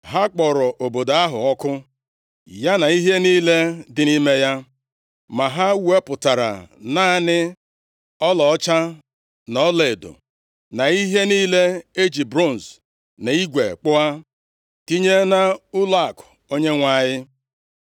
Ha kpọrọ obodo ahụ ọkụ, ya na ihe niile dị nʼime ya. Ma ha wepụtara naanị ọlaọcha na ọlaedo, na ihe niile e ji bronz na igwe kpụọ, tinye nʼụlọakụ Onyenwe anyị.